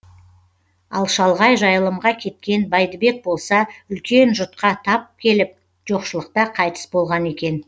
ал шалғай жайылымға кеткен бәйдібек болса үлкен жұтқа тап келіп жоқшылықта қайтыс болған екен